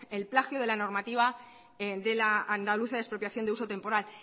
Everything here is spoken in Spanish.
el plagio de la normativa de la andaluza de expropiación de uso temporal